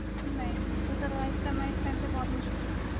ਨਹੀਂ survive ਕਰਨਾ ਬਹੁਤ ਮੁਸ਼ਕਿਲ ਵ